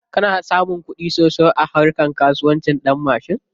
Kana samun kuɗi sosai a harka kasuwancin ɗanmashin?